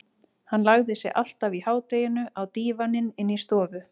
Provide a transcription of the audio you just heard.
Hann lagði sig alltaf í hádeginu á dívaninn inni í stofu.